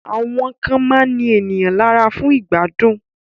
Àwọn kan máa ń ní èèyàn lára fún ìgbádùn